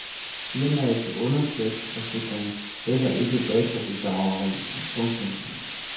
Firmaets underslæbsforsikring dækker ikke databedrageri. punktum